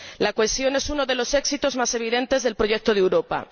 La cohesión es uno de los éxitos más evidentes del proyecto de Europa.